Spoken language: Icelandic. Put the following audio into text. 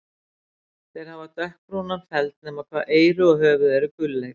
Þeir hafa dökkbrúnan feld nema hvað eyru og höfuð eru gulleit.